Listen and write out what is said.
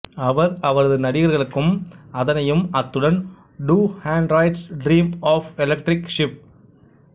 அவர் அவரது நடிகர்களுக்கும் அதனையும் அத்துடன் do androids dream of electric sheep